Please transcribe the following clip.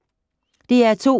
DR2